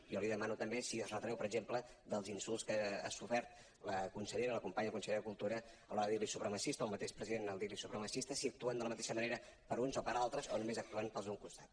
jo li demano també si es retreu per exemple dels insults que ha sofert la consellera la companya consellera de cultura a l’hora de dir li supremacista o al mateix president dir li supremacista si actuen de la mateixa manera per a uns o per a altres o només actuen per als d’un costat